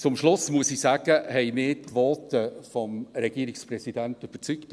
Zum Schluss muss ich sagen, dass mich die Voten des Regierungspräsidenten überzeugt haben.